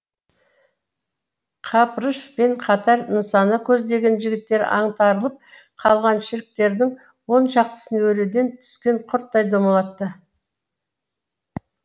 қапырыш пен қатар нысана көздеген жігіттер аңтарылып қалған шеріктердің оншақтысын өреден түскен құрттай домалатты